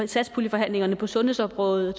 satspuljeforhandlingerne på sundhedsområdet